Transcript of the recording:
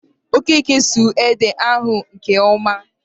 Okeke suru ede ahụ nke ọma